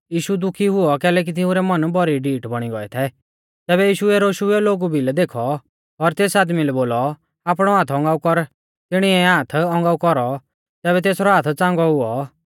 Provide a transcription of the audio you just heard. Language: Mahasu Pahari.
यीशु दुखी हुऔ कैलैकि तिंउरै मन भौरी डीठ बौणी गौऐ थै तैबै यीशुऐ रोशुइयौ लोगु भिलै देखौ और तेस आदमी लै बोलौ आपणौ हाथ औगांऊ कर तिणिऐ हाथ औगांऊ कौरौ तैबै तेसरौ हाथ च़ांगौ हुऔ